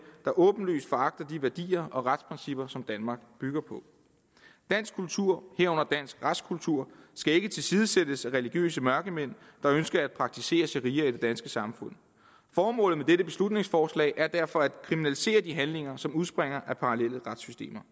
der åbenlyst foragter de værdier og retsprincipper som danmark bygger på dansk kultur herunder dansk retskultur skal ikke tilsidesættes af religiøse mørkemænd der ønsker at praktisere sharia i det danske samfund formålet med dette beslutningsforslag er derfor at kriminalisere de handlinger som udspringer af parallelle retssystemer